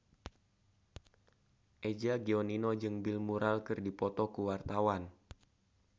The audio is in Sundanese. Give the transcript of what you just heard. Eza Gionino jeung Bill Murray keur dipoto ku wartawan